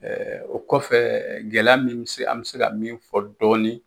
o kɔfɛ gɛlɛya min bɛ se an bɛ se ka min fɔ dɔɔni